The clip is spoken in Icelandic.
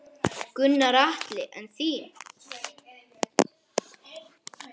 Gunnar Atli: En þín?